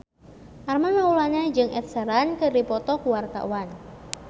Armand Maulana jeung Ed Sheeran keur dipoto ku wartawan